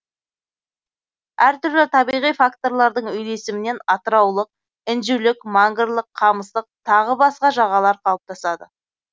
әр түрлі табиғи факторлардың үйлесімінен атыраулық інжулік мангрлық камыстық тағы басқа жағалар қалыптасады